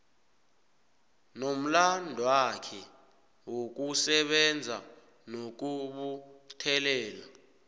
nomlandwakhe wokusebenza nokubuthelela